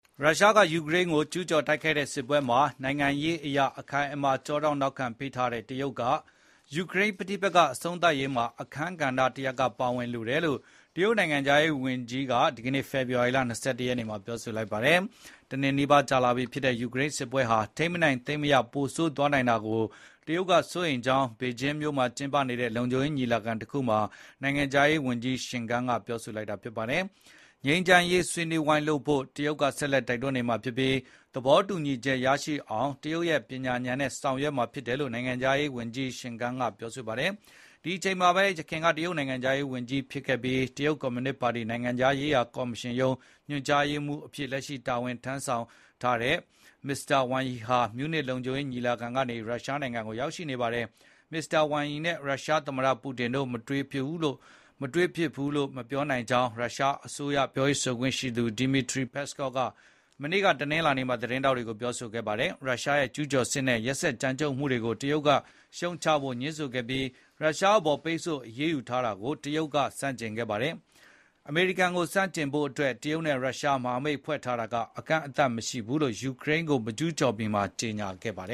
ရုရှားက ယူကရိန်းကို ကျူးကျော်တိုက်ခိုက်တဲ့ စစ်ပွဲမှာ နိုင်ငံရေးအရ အခိုင်အမာ ကျောထောက်နောက်ခံ တရုတ်က ယူကရိန်းပဋိပက္ခ အဆုံးသတ်ရေးမှာ အခန်းကဏ္ဍတစ်ရပ်က ပါဝင်လိုတယ်လို့ တရုတ် နိုင်ငံခြားရေးဝန်ကြီးက ဒီကနေ့ ဖေဖေ်ာဝါရီ ၂၁ ရက်နေ့မှာ ပြောလိုက်ပါတယ်။ တစ်နှစ်နီးပါး ကြာလာပြီဖြစ်တဲ့ ယူကရိန်းစစ်ပွဲဟာ ထိန်းမနိုင်သိမ်းမရ ပိုဆိုးသွားနိုင်တာကို တရုတ်က စိုးရိမ်ကြောင်း ဘေကျင်းမြို့မှာ ကျင်းပနေတဲ့ လုံခြုံရေးညီလာခံတစ်ခုမှာ နိုင်ငံခြားရေးဝန်ကြီး ချင်ဂန် (Qin Gang) က ပြောလိုက်တာ ဖြစ်ပါတယ်။ ငြိမ်းချမ်းရေး ဆွေးနွေးဝိုင်းလုပ်ဖို့ တရုတ်က ဆက်လက် တိုက်တွန်းနေမှာဖြစ်ပြီး၊ သဘောတူညီချက်ရရှိအောင် တရုတ်ရဲ့ ပညာဉာဏ်နဲ့ ဆောင်ရွက်မှာ ဖြစ်တယ်လို့ နိုင်ငံခြားရေးဝန်ကြီးချင်ဂန်က ဆိုပါတယ်။ ဒီအချိန်မှာပဲ ယခင် တရုတ်နိုင်ငံခြားရေးဝန်ကြီး ဖြစ်ခဲ့ပြီး၊ တရုတ် ကွန်မြူနစ်ပါတီ နိုင်ငံခြားရေးရာကော်မရှင်ရုံး ညွှန်ကြားရေးမှူးအဖြစ် လက်ရှိတာဝန်ယူထားတဲ့ မစ္စတာဝမ်ယီဟာ မြူးနစ် လုံခြုံရေးညီလာခံကနေ ရုရှားနိုင်ငံကို ရောက်ရှိနေပါတယ်။ မစ္စတာ ဝမ်ယီနဲ့ ရုရှားသမ္မတ ပူတင်တို့ မတွေ့ဘူးလို့ မပြောနိုင်ကြောင်း ရုရှားအစိုးရ ပြောရေးဆိုခွင့်ရှိသူ Dmitry Peskov က မနေ့ တနင်္လာနေ့မှာ သတင်းထောက်တွေကို ပြောပါတယ်။ ရုရှားရဲ့ ကျူးကျော်စစ်နဲ့ ရက်စက်ကြမ်းကြုတ်မှုတွေကို တရုတ်က ရှုတ်ချဖို့ ငြင်းဆိုခဲ့ပြီး၊ ရုရှားအပေါ် ပိတ်ဆို့အရေးယူတာကို တရုတ်က ဆန့်ကျင်ခဲ့ပါတယ်။ အမေရိကန်ကို ဆန့်ကျင်ဖို့အတွက် တရုတ်နဲ့ ရုရှား မဟာမိတ်ဖွဲ့ထားတာက အကန့်အသတ်မရှိဘူးလို့ ယူကရိန်းကို မကျူးကျော်မီမှာ ကြေညာခဲ့ကြတ